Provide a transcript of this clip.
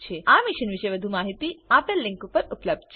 આ મિશન પરની વધુ માહિતી spoken tutorialorgnmeict ઇન્ટ્રો પર ઉપલબ્ધ છે